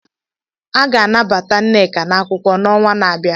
A ga-anabata Nneka na akwụkwọ n'ọnwa na-abịa.